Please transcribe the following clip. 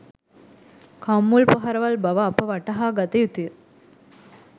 කම්මුල් පහරවල් බව අප වටහාගත යුතුය